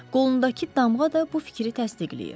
Qolundakı damğa da bu fikri təsdiqləyir.